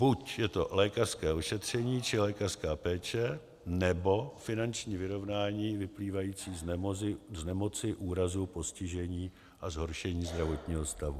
Buď je to lékařské ošetření či lékařská péče, nebo finanční vyrovnání vyplývající z nemoci, úrazu, postižení a zhoršení zdravotního stavu.